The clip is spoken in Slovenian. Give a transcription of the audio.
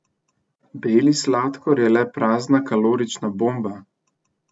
Beli sladkor je le prazna kalorična bomba!